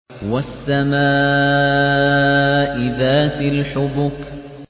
وَالسَّمَاءِ ذَاتِ الْحُبُكِ